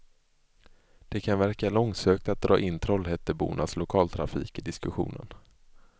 Det kan verka långsökt att dra in trollhättebornas lokaltrafik i diskussionen.